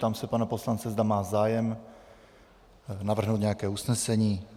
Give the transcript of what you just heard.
Ptám se pana poslance, zda má zájem navrhnout nějaké usnesení.